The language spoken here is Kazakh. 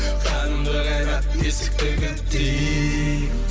қанымды қайнат есікті кілттейік